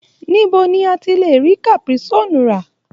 Níbo la ti lè rí caprisonne rà?